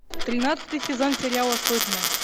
тринадцатый сезон сериала сотня